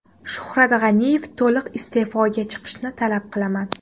Shuhrat G‘aniyev to‘liq iste’foga chiqishini talab qilaman.